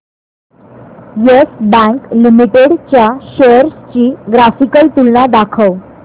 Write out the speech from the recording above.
yes bank limited च्या shares ची graphical तुलना दाखव